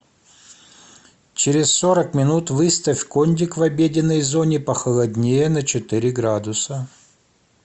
через сорок минут выставь кондик в обеденной зоне похолоднее на четыре градуса